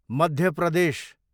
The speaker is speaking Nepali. मध्य प्रदेश